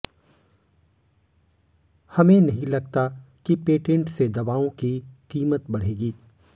हमें नहीं लगता कि पेटेंट से दवाओं की कीमत बढ़ेगी